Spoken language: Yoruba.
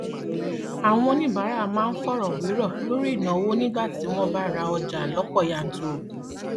àwọn oníbàárà máa ń fọrọ wérọ lórí ìnáwó nígbà tí wọn ń ra ọjà lọpọ yanturu